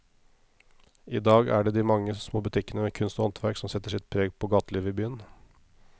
I dag er det de mange små butikkene med kunst og håndverk som setter sitt preg på gatelivet i byen.